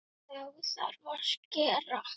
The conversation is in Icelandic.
Þá þarf að skera.